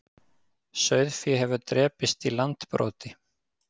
Sauðfé hefur drepist í Landbroti